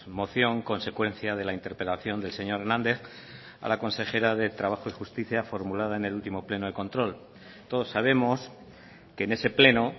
moción consecuencia de la interpelación del señor hernández a la consejera de trabajo y justicia formulada en el último pleno de control todos sabemos que en ese pleno